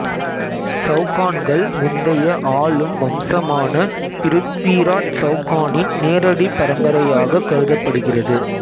செளகான்கள் முந்தைய ஆளும் வம்சமான பிருத்விராச் செளகானின் நேரடி பரம்பரையாக கருதப்படுகிறது